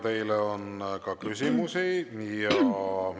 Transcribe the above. Teile on ka küsimusi.